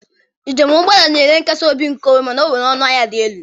Njem ụgbọala na-enye nkasi obi nkeonwe mana ọ nwere ọnụ ahịa dị elu.